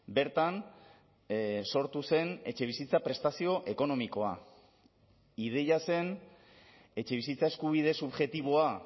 bertan sortu zen etxebizitza prestazio ekonomikoa ideia zen etxebizitza eskubide subjektiboa